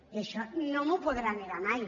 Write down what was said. i això no m’ho podrà negar mai